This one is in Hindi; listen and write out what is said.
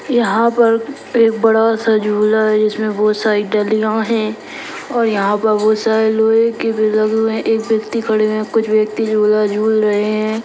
यहाँ पर एक बड़ा सा झूला है जिसमें बहोत सारी डलियां हैं और यहाँ पर बहोत सारे लोहे के भी लगे हुए हैं एक व्यक्ति खड़े हुए हैं कुछ व्यक्ति झूला झूल रहे हैं।